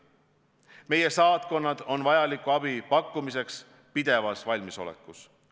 Meie saatkonnad on vajaliku abi pakkumiseks pidevas valmisolekus.